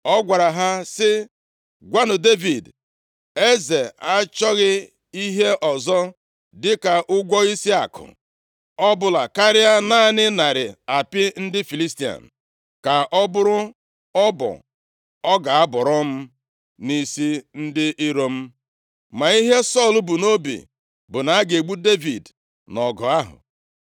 ọ gwara ha sị, “Gwanụ Devid, ‘Eze achọghị ihe ọzọ dịka ụgwọ isi akụ ọbụla karịa naanị narị apị ndị Filistia. Ka ọ bụrụ ọbọ ọ ga-abọrọ m nʼisi ndị iro m.’ ” Ma ihe Sọl bu nʼobi bụ na a ga-egbu Devid nʼọgụ ahụ.